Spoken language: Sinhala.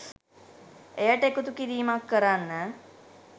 එයට එකතු කිරීමක් කරන්න